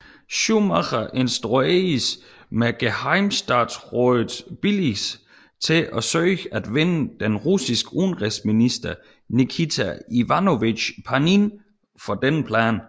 Schumacher instrueredes med gehejmestatsrådets billigelse til at søge at vinde den russiske udenrigsminister Nikita Ivanovich Panin for denne plan